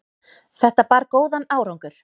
Þetta bar góðan árangur.